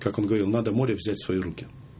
как он говорил надо море взять в свои руки